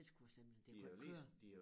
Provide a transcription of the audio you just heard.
Ellers kunne det simpelthen det kunne ikke køre